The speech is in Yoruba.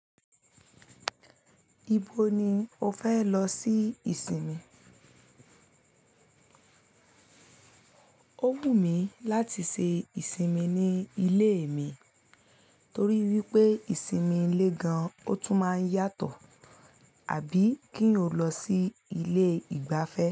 Ibo ni o fẹ lọ ṣi ìsinmi? O wù mí láti ṣe ìsinmi ní ilé mi torí wípé ìsinmi ilé gan ọ tún máa ń yàtọ àbí kí o lọ sí ilé ìgbafẹ́.